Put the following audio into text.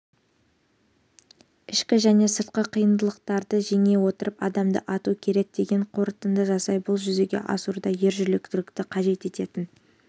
ішкі және сыртқы қиындықтарды жеңе отырып адамды ату керек деген қорытынды жасайды бұл жүзеге асыруда ержүректілікті қажет ететін